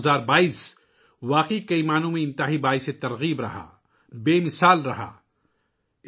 2022 ء واقعی بہت متاثر کن، بہت سے طریقوں سے شاندار رہا ہے